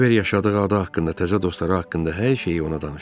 Kibver yaşadığı ada haqqında, təzə dostları haqqında hər şeyi ona danışdı.